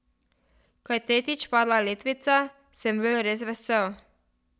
Ko je tretjič padla letvica, sem bil res vesel.